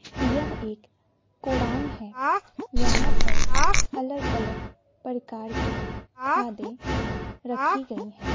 यह एक गोडाउन है यहां पर अलग अलग परकार की खादें रखी गई हैं।